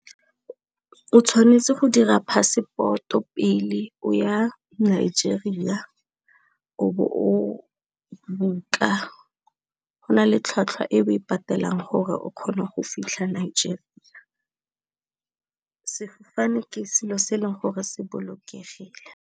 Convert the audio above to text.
O tshwanetse go dira passport o pele o ya Nigeria, o bo o book-a, go na le tlhwatlhwa e o e patelang gore o kgone go fitlha Nigeria. Sefofane ke selo se e leng gore se bolokegile.